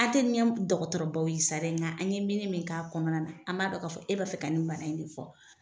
dɔgɔtɔrɔ baw ye sa dɛ nga an ye mini min k'a kɔnɔna na an b'a dɔn k'a fɔ e b'a fɛ ka ni bana in de fɔ.